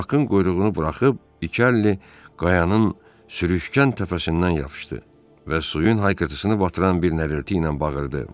Bakın quyruğunu buraxıb iki əli qayanın sürüşkən təpəsindən yapışdı və suyun haykırtısını batıran bir nərəlti ilə bağırdı.